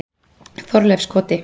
Þorleifskoti